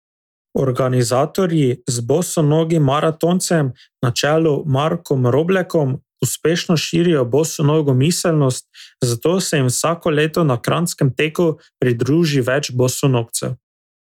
Organizatorji z bosonogim maratoncem na čelu Markom Roblekom uspešno širijo bosonogo miselnost, zato se jim vsako leto na kranjskem teku pridruži več bosonogcev.